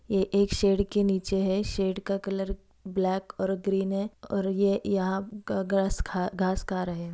ये एक शेड के नीचे है शेड का कलर ब्लैक और ग्रीन है और ये यहाँ घास खा घास खा रहे है।